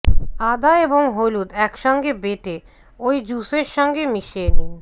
আদা আর হলুদ এক সঙ্গে বেটে ওই জ্যুসের সঙ্গে মিশিয়ে নিন